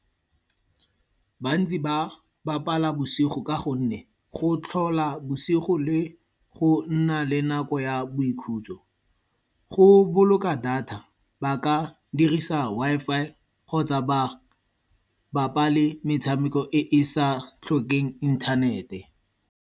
Bontsi ba bapala bosigo ka gonne go tlhola bosigo le go nna le nako ya boikhutso. Go boloka data, ba ka dirisa Wi-Fi kgotsa ba bapale metshameko e e sa tlhokeng inthanete.